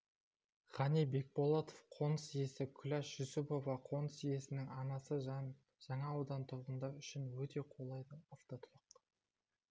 ғани бекболатов қоныс иесі күләш жүсіпова қоныс иесінің анасы жаңа аудан тұрғындар үшін өте қолайлы автотұрақ